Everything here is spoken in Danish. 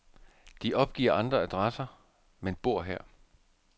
De opgiver andre adresser, men bor her.